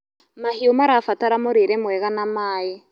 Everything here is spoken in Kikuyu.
Mahĩũ marabatara mũrĩre mwega na maĩ